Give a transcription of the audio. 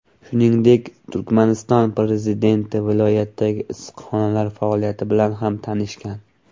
Shuningdek, Turkmaniston prezidenti viloyatdagi issiqxonalar faoliyati bilan ham tanishgan.